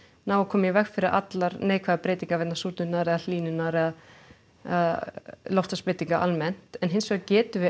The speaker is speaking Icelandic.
ná að koma í veg fyrir allar neikvæðar breytingar vegna súrnunar eða hlýnunar eða loftlagsbreytinga almennt en hins vegar getum við